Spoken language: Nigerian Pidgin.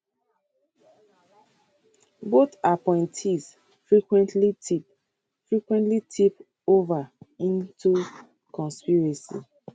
both appointees frequently tip frequently tip ova into conspiracy